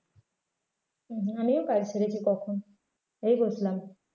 হম আমিও কাজ সেরেছি কখন এই বসলাম।